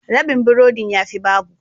Rabin burodin ya fi babu.